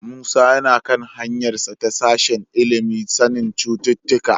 Musa yana kan hanyarsa ta sashen ilimin sanin cututtuka.